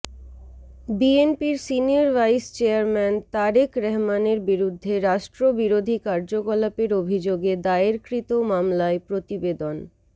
বিএনপির senior vice chairman Tarique রহমানের বিরুদ্ধে রাষ্ট্রবিরোধী কার্যকলাপের অভিযোগে দায়েরকৃত মামলায় প্রতিবেদন